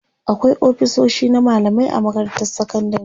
akwai ofisoshi na mallamai a makarantar sekandari